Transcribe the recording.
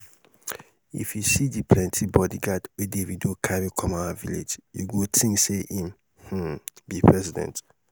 if you see the plenty bodyguard wey davido carry come our village you go think say im um be president